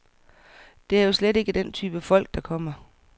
Det er jo slet ikke den type folk, der kommer.